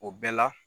O bɛɛ la